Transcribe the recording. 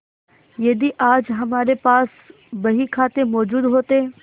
यदि आज हमारे पास बहीखाते मौजूद होते